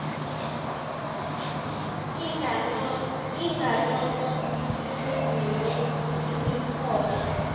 inganono kudume imihosha